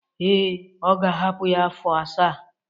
Ee, ọ ga-ahapụ ya afọ asaa.